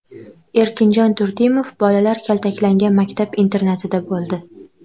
Erkinjon Turdimov bolalar kaltaklangan maktab-internatida bo‘ldi.